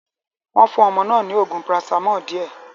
Wọ́n fún ọmọ náà ní oògùn paracetamol díẹ̀.